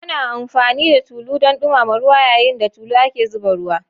Ana amfani da tulu don dumama ruwa, yayin da tulu ake zuba ruwa.